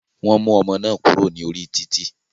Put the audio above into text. Wọn mú ọmọ náà kúrò ní orí títì.